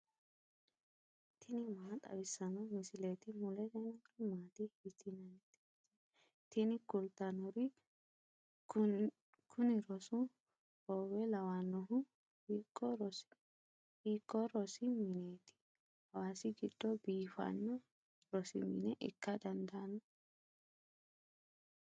tini maa xawissanno misileeti ? mulese noori maati ? hiissinannite ise ? tini kultannori kuni rosu hoowe lawannohu hiikko rosi mineeti hawasi giddo biifanno rosi mine ikka dandaanno